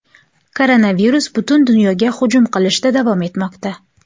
Koronavirus butun dunyoga hujum qilishda davom etmoqda.